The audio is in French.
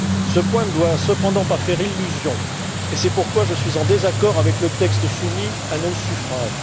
Ce point ne doit cependant pas faire illusion et c'est pourquoi je suis en désaccord avec le texte soumis à nos suffrages.